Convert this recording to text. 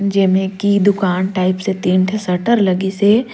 जेमें की दुकान टाइप से तीन ठ शटर लगिसे।